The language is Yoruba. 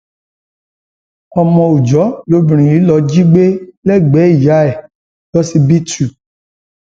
ọmọ òòjọ lobìnrin yìí lóò jí gbé lẹgbẹẹ ìyá ẹ lọsibítù